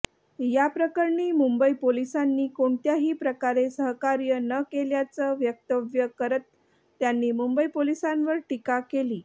याप्रकरणी मुंबई पोलिसांनी कोणत्याही प्रकारे सहकार्य न केल्याचं वक्तव्य करत त्यांनी मुंबई पोलिसांवर टीका केली